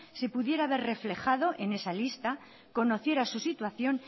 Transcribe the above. se pudiera ver reflejado en esa lista conociera su situación